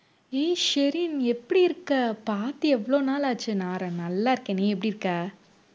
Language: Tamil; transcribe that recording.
ஏய் ஷெரின் எப்படி இருக்க பார்த்து எவ்வளவு நாள் ஆச்சு நான் ர~ நல்லா இருக்கேன் நீ எப்படிருக்க